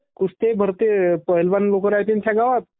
कुस्त्या भी भरते पहेलवान रायते ना त्या गावात.